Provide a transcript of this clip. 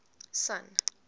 sun